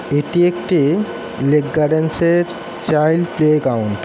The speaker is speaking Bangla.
এটি একটি লেক গার্ডেন্সের এর চাইল্ড প্লে গ্রাউন্ড ।